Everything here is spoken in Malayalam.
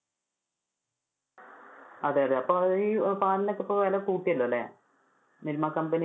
അതെ അതെ ഇപ്പൊ അവര് പാലിനൊക്കെ ഇപ്പൊ വില കുട്ടിയല്ലോ അല്ലെ. മിൽമ company